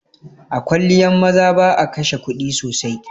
A kwalliyan maza ba'a kashe kuɗi sosai.